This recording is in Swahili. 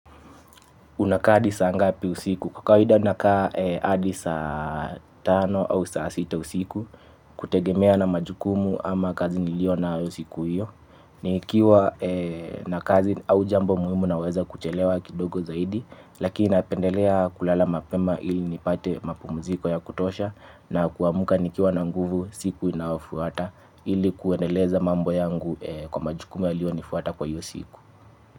Unakaa hadi saa ngapi usiku kwa kawida nakaa hadi saa tano au saa sita usiku kutegemea na majukumu ama kazi nilionayo siku hiyo. Nikiwa na kazi au jambo muhimu naweza kuchelewa kidogo zaidi lakini napendelea kulala mapema ili nipate mapumuziko ya kutosha. Na kuamuka nikiwa na nguvu siku inayofuata ili kuendeleza mambo yangu kwa majukumu yaliyo nifuata kwa hiyo siku.